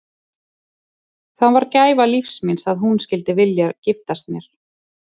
Það var gæfa lífs míns að hún skyldi vilja giftast mér.